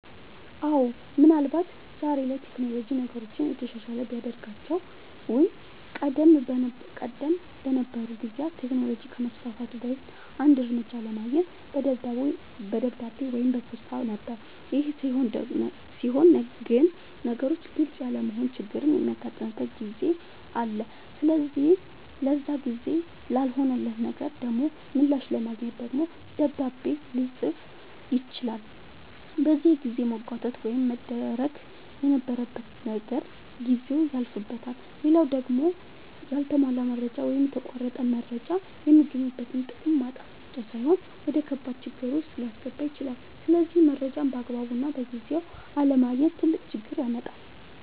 አወ ምን አልባት ዛሬ ላይ ቴክኖሎጅ ነገሮችን የተሻለ ቢያደርጋቸውም ቀደም በነበሩ ጊዜያት ቴክኖሎጅ ከመስፋፋቱ በፊት አንድ መረጃ ለማግኘት በደብዳቤ ወይም በፖስታ ነበር ይሄ ሲሆን ግን ነገሮች ግልፅ ያለመሆን ችግርም የሚያጋጥምበት ጊዜ አለ ስለዚህ ለዛ ግልፅ ላልሆነለት ነገር ደሞ ምላሽ ለማግኘት ደግሞ ደብዳቤ ልፅፍ ይችላል በዚህ የጊዜ መጓተት ውስጥ መደረግ የነበረበት ነገር ጊዜው ያልፍበታል። ሌላው ደሞ ያልተሟላ መረጃ ወይም የተቆረጠ መረጃ የሚገኝበትን ጥቅም ማጣት ብቻ ሳይሆን ወደከባድ ችግር ዉስጥ ሊያስገባ ይችላል ስለዚህ መረጃን ባግባቡና በጊዜው አለማግኘት ትልቅ ችግር ያመጣል